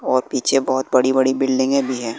और पीछे बहोत बड़ी बड़ी बिल्डिंगे भी है।